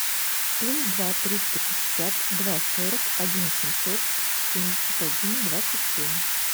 плюс два триста пятьдесят два сорок один семьсот семьдесят один двадцать семь